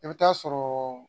I bɛ taa sɔrɔ